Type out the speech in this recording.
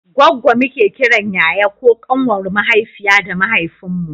goggo muke kiran yaya ko ƙanwar mahaifiya da mahaifin mu